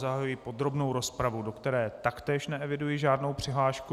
Zahajuji podrobnou rozpravu, do které taktéž neeviduji žádnou přihlášku.